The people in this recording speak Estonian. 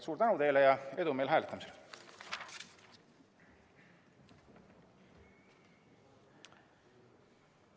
Suur tänu teile ja edu meile hääletamisel!